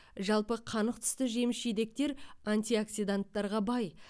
жалпы қанық түсті жеміс жидектер антиоксиданттарға бай